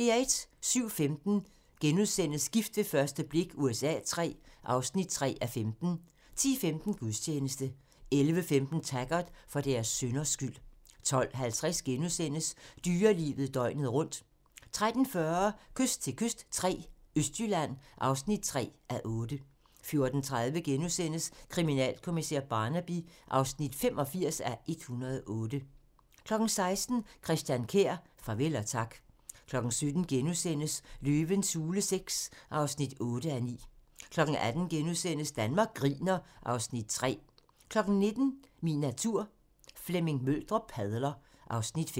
07:15: Gift ved første blik USA III (3:15)* 10:15: Gudstjeneste 11:15: Taggart: For deres synders skyld 12:50: Dyrelivet døgnet rundt * 13:40: Kyst til kyst III - Østjylland (3:8) 14:30: Kriminalkommissær Barnaby (85:108)* 16:00: Christian Kjær - farvel og tak 17:00: Løvens hule VI (8:9)* 18:00: Danmark griner (Afs. 3)* 19:00: Min natur - Flemming Møldrup padler (Afs. 5)